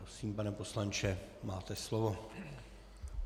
Prosím, pane poslanče, máte slovo.